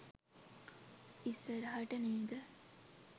ඉස්සරහට නේද?